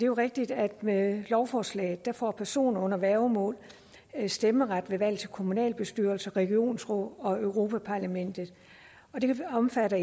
jo rigtigt at med lovforslaget får personer under værgemål stemmeret ved valg til kommunalbestyrelser regionsråd og europa parlamentet det omfatter